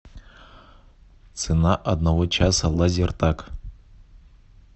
цена одного часа лазертаг